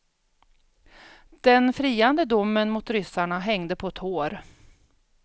Den friande domen mot ryssarna hängde på ett hår.